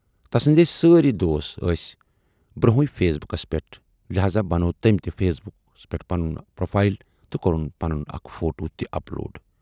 تسٕندۍ سٲری دوست ٲسۍ برونہےٕ فیس بُکس پٮ۪ٹھ، لہذا بنوو تمٔۍ تہِ فیس بُکس پٮ۪ٹھ پنٕنۍ پروفایل تہٕ کورُن پنُن اکھ فوٹو تہِ اپلوڈ